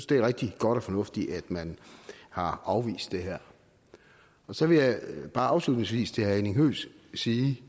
det er rigtig godt og fornuftigt at man har afvist det her så vil jeg bare afslutningsvis sige